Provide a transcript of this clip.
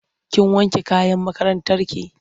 Kin wanke kayan makarantarki?